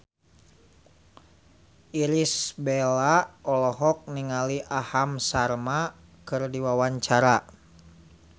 Irish Bella olohok ningali Aham Sharma keur diwawancara